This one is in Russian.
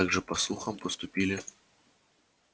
так же по слухам поступили